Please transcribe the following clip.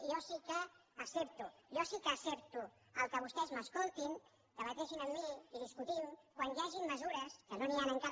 jo sí que accepto jo sí que ho accepto que vostès m’es coltin debatin amb mi i discutim quan hi hagin mesures que no n’hi han encara